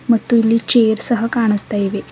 ಮತ್ತು ಇಲ್ಲಿ ಚೇರ್ ಸಹ ಕಾಣಸ್ತಾ ಇವೆ.